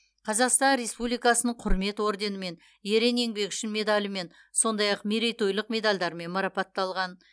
қазақстан республикасының құрмет орденімен ерен еңбегі үшін медалімен сондай ақ мерейтойлық медальдармен марапатталған